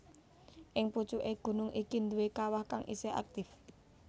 Ing pucuké gunung iki duwé kawah kang isih aktif